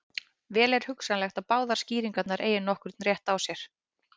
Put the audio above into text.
Vel er hugsanlegt að báðar skýringarnar eigi nokkurn rétt á sér.